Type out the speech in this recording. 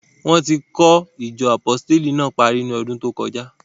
Wọ́n ti kọ́ ìjọ Àpọsítélì náà parí ní ọdún tó kọjá.